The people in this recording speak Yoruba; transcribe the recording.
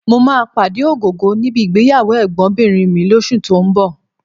Mo máa pàdé Ògògó níbi ìgbéyàwó ẹ̀gbọ́nbìnrin mi lóṣù tó ń bọ̀